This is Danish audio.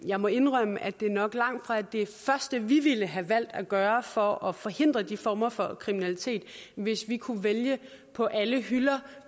jeg må indrømme at det nok langtfra er det første vi ville have valgt at gøre for at forhindre de former for kriminalitet hvis vi kunne vælge på alle hylder